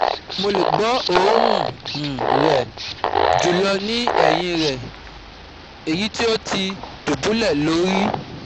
Mo le gbo orun um rẹ julọ ni ẹhin rẹ (eyiti o ti dubulẹ lori)